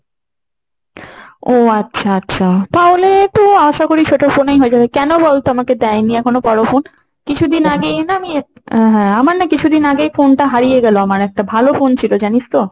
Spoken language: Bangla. ও আচ্ছা আচ্ছা। তাহলে তো আশা করি ছোট phone এই হয়ে যাবে। কেন বলতো আমাকে দেয় নি এখনও বড় phone, কিছুদিন আগেই না আমি একটা, আহ হ্যাঁ আমার না কিছুদিন আগে phone টা হারিয়ে গেল একটা ভালো phone ছিল জানিস তো,